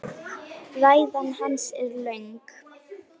Ræða hans er löng.